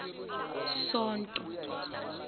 sonto